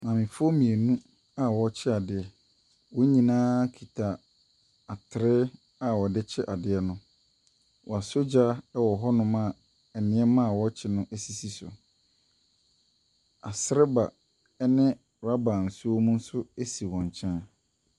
Maamefoɔ mmienu a wɔrekyɛ adeɛ. Wɔn nyinaa kita atere a wɔde kyɛ adeɛ no. Wɔasɔ gya wɔ hɔnom a nneɛma a ɛwɔ akyi no sisi so. Asereba ne rubber nsuo wɔ mu nso si wɔn nkyɛn.